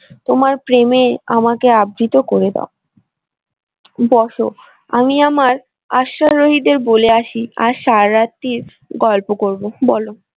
তোমার প্রেমে আমাকে আবৃত করে দাও বসো আমি আমার অশ্বারোহীদের বলে আসি আর সারা রাত্রির গল্প করব বলো।